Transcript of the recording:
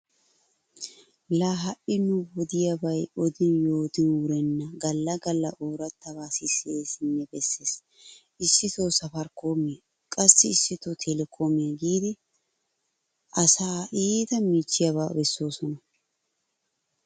Laa ha"i nu wodiyabay odin yootin wurenna galla galla oorattabaa sisseesinne bessees. Issito 'saafaarikoomiya' qassi issito 'teelekoomiya' giiddi asaa iita miichchiyaba bessoosona.